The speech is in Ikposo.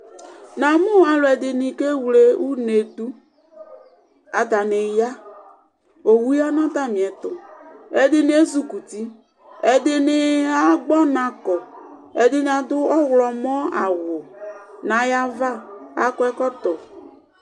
namu aludini keylɛ unɛdu ataniya ɔwuya nu atanietu ɛdini ɛzukuti ɛdini agɔnaku ɛdini abu ʊklʊnu awu nayava akɔ ɛkɔtɔ